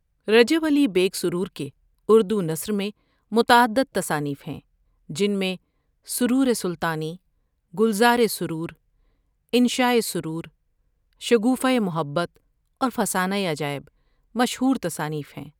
رجب علی بیگ سرور کے اردو نثر میں متعدد تصانیف ہیں جن میں سرور سلطانی ، گلزار سرور ، انشاء سرور ، شگوفہ محبت اور فسانۂ عجائب مشہور تصانیف ہیں ۔